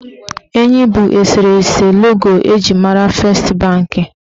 Enyi bụ eserese logo eji mara fest banki.